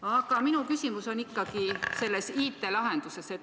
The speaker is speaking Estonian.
Aga minu küsimus on ikkagi IT-lahenduse kohta.